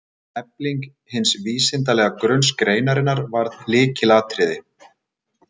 Efling hins vísindalega grunns greinarinnar varð lykilatriði.